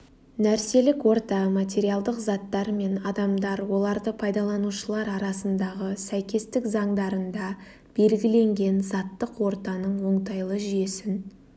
нәрселік орта материалдық заттар мен адамдар оларды пайдаланушылар арасындағы сәйкестік заңдарында белгіленген заттық ортаның оңтайлы жүйесін